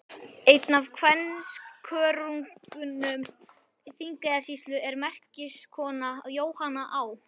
Einn af kvenskörungum Þingeyjarsýslu og merkiskona, Jóhanna Á.